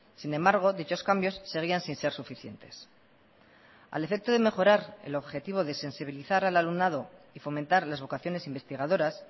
sin embargo dichos cambios seguían sin ser suficientes al efecto de mejorar el objetivo de sensibilizar al alumnado y fomentar las vocaciones investigadoras